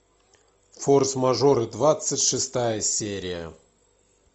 форс мажоры двадцать шестая серия